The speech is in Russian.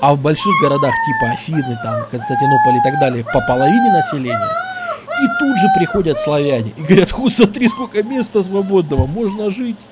а в больших городах типа афины там константинополь и так далее по половине населения и тут же приходят славяне и говорят смотри сколько места свободного можно жить